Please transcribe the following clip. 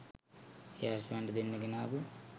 ඒ අශ්වයන්ට දෙන්න ගෙනාපු